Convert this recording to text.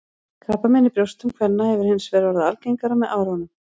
Krabbamein í brjóstum kvenna hefur hins vegar orðið algengara með árunum.